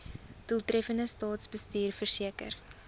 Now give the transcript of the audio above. doeltreffende staatsbestuur verseker